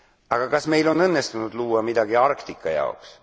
Aga kas meil on õnnestunud luua midagi Arktika jaoks?